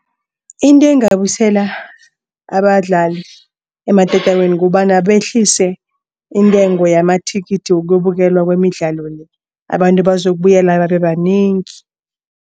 Into engabusela abadlali ematatawini kukobana behlise intengo yamathikithi yokubukela kwemidlalo le abantu bazokubuyela babe banengi.